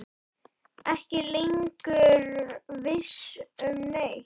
Ekki lengur viss um neitt.